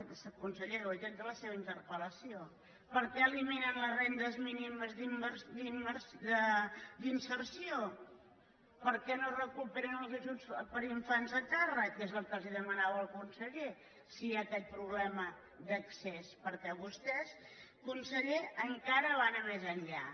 és que conseller ho he tret de la seva interpel·lació per què eliminen les rendes mínimes d’inserció per què no recuperen els ajuts per infants a càrrec que és el que li demanava el síndic si hi ha aquest problema d’accés perquè vostè conseller encara va anar més enllà